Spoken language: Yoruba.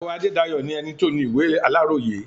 Àlàó Adédayọ̀ ni ẹni tó ni ìwé ìròyìn Aláròyé.